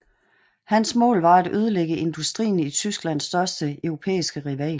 Hans mål var at ødelægge industrien i Tysklands største europæiske rival